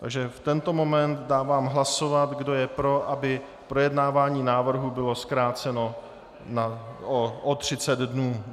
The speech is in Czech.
Takže v tento moment dávám hlasovat, kdo je pro, aby projednávání návrhu bylo zkráceno o 30 dnů.